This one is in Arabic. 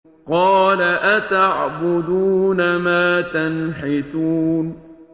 قَالَ أَتَعْبُدُونَ مَا تَنْحِتُونَ